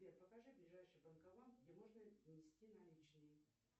сбер покажи ближайший банкомат где можно внести наличные